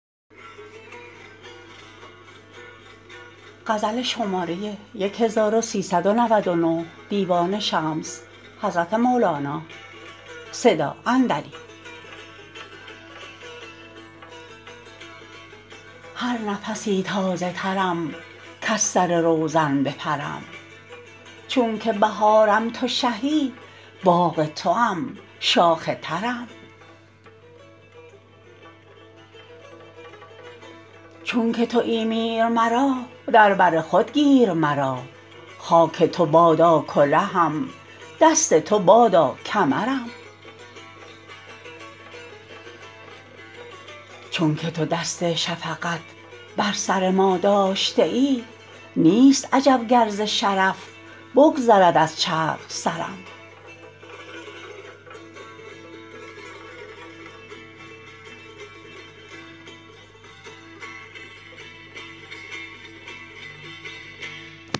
هر نفسی تازه ترم کز سر روزن بپرم چونکه بهارم تو شهی باغ توام شاخ ترم چونکه توی میر مرا در بر خود گیر مرا خاک تو بادا کلهم دست تو بادا کمرم چونکه تو دست شفقت بر سر ما داشته ای نیست عجب گر ز شرف بگذرد از چرخ سرم